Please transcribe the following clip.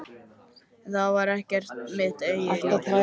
En það væri ekki mitt eigið líf.